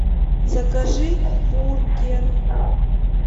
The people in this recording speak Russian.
закажи бургер